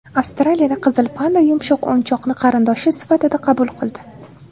Avstraliyada qizil panda yumshoq o‘yinchoqni qarindoshi sifatida qabul qildi .